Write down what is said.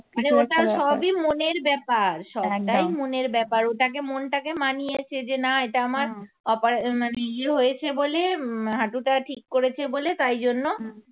আরে ওটা সবই মনের ব্যাপার সব ব্যাপার একটাই মনের ব্যাপার ওটাকে মনটাকে মানিয়েছে যে না এটা আমার হ্যাঁ operat মানে ইয়ে হয়েছে বলে হাটুটা ঠিক করেছে বলে তাই জন্য